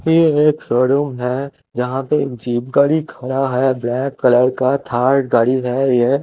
ये एक show room है जहाँ पे एक जिप गाडी खड़ा है ब्लैक कलर का थार गाडी है ये--